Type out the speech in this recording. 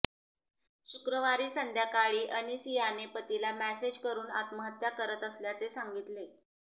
शुक्रवारी संध्याकाळी अनिसियाने पतीला मेसेज करुन आत्महत्या करत असल्याचे सांगितले